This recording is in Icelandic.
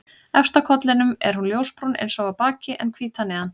Efst á kollinum er hún ljósbrún eins og á baki en hvít að neðan.